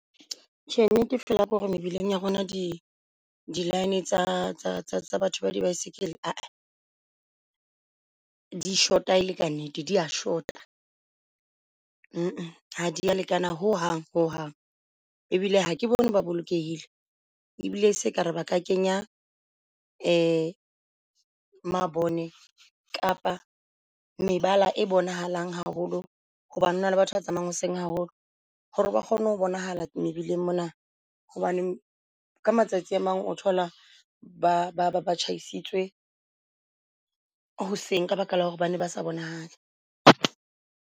Tjhe, nnete fela hore mebileng ya rona di di line tsa batho ba di baesekele aa di shota ele ka nnete dia shota. Ha dia lekana ho hang ho hang. E bile ha ke bone ba bolokehile, ebile seka ra ba ka kenya mabone kapa mebala e bonahalang haholo hobane hona le batho ba tsamayang hoseng haholo. Hore ba kgone ho bonahala mebileng mona hobane ka matsatsi a mang o thola ba tjhaisitswe hoseng, ka baka la hore bane ba sa bonahale.